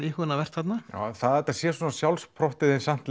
íhugunarvert þarna það að þetta sé svona sjálfssprottið en samt